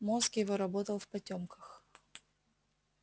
мозг его работал в потёмках